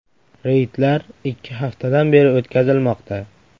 Reydlar ikki haftadan beri o‘tkazilmoqda.